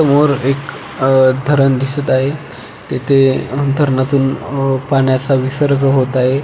समोर एक अह धरण दिसत आहे तेथे धरणातील पाण्याचा विसर्ग होत आहे.